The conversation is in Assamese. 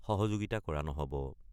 সহযোগিতা কৰা নহ'ব।